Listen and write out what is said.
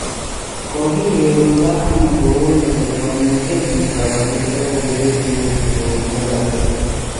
"Kokiregundo ano kouni kot komuche chito kosir logoiwek cheuchu kowech bolotet.